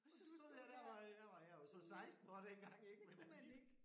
Og så stod jeg dér hvor jeg var jeg var så 16 år dengang ik men alligevel